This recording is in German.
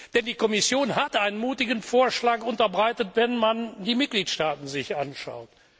Denn die Kommission hat einen mutigen Vorschlag unterbreitet, wenn man sich die Mitgliedstaaten anschaut.